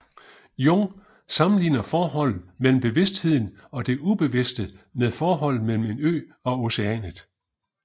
Jung sammenligner forholdet mellem bevidstheden og det ubevidste med forholdet mellem en ø og oceanet